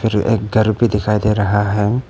और एक घर भी दिखाई दे रहा है।